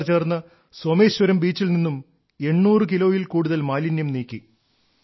ഇവർ ചേർന്ന് സോമേശ്വരം ബീച്ചിൽ നിന്നും 800 കിലോയിൽ കൂടുതൽ മാലിന്യം നീക്കി